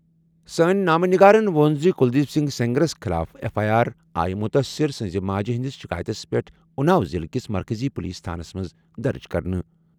سٲنۍ نامہ نگارن ووٚن زِ کلدیپ سنگھ سینگرَس خٕلاف ایف آٮٔی آر آیہِ مُتٲثِر سٕنٛزِ ماجہِ ہِنٛدِس شِکایتَس پٮ۪ٹھ اُناو ضِلعہٕ کِس مرکٔزی پُلیٖس تھانس منٛز درٕج کرنہٕ۔